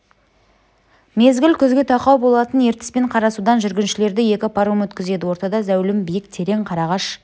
мезгіл күзге тақау болатын ертіс пен қарасудан жүргіншілерді екі паром өткізеді ортада зәулім биік терек қарағаш